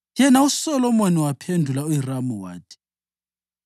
Yena uSolomoni waphendula uHiramu wathi: